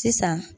Sisan